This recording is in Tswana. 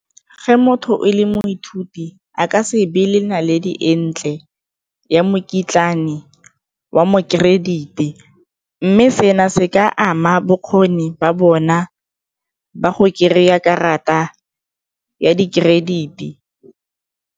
Ge motho e le moithuti a ka se be le naledi e ntle ya mokitlane wa mo credit-e mme seno se ka ama bokgoni ba bona ba go kry-a karata ya di-credit-e.